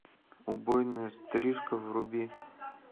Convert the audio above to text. убойная стрижка вруби